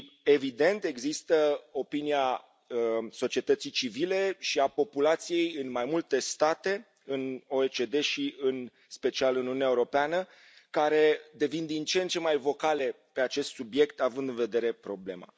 Evident, există opinia societății civile și a populației în mai multe state, în OECD și în special în Uniunea Europeană, care devin din ce în ce mai vocale pe acest subiect având în vedere problema.